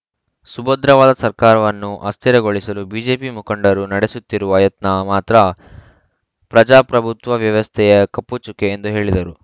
ಸುಭದ್ರವಾದ ಸರ್ಕಾರವನ್ನು ಅಸ್ಥಿರಗೊಳಿಸಲು ಬಿಜೆಪಿ ಮುಖಂಡರು ನಡೆಸುತ್ತಿರುವ ಯತ್ನ ಮಾತ್ರ ಪ್ರಜಾಪ್ರಭುತ್ವ ವ್ಯವಸ್ಥೆಯ ಕಪ್ಪುಚುಕ್ಕೆ ಎಂದು ಹೇಳಿದರು